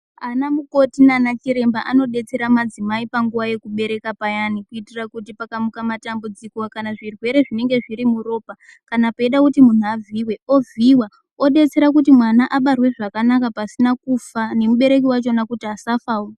Ana mukoti nanachiremba anodetsera madzimai panguva yekubereka payani kuitira kuti pakamuka matambudziko kana kuti zvirwere zvinenge zviri muropa, kana peida kuti munhu avhiyiwe, ovhiyiwa odetsera kuti mwana abarwe zvakanaka pasina kufa nemubereki wachowo kuti asafawo.